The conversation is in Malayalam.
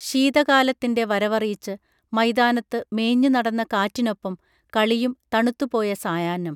ശീത കാലത്തിൻറെ വരവറിയിച്ചു മൈതാനത്ത് മേഞ്ഞു നടന്ന കാറ്റിനൊപ്പം കളിയും തണുത്തു പോയ സായാഹ്നം